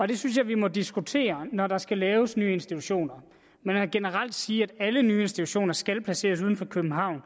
det synes jeg vi må diskutere når der skal laves nye institutioner men generelt at sige at alle nye institutioner skal placeres uden for københavn